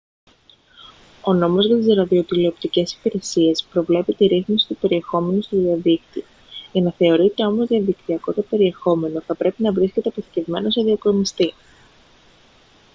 ο νόμος για τις ραδιοτηλεοπτικές υπηρεσίες προβλέπει τη ρύθμιση του περιεχομένου στο διαδίκτυο για να θεωρείται όμως διαδικτυακό το περιεχόμενο θα πρέπει να βρίσκεται αποθηκευμένο σε διακομιστή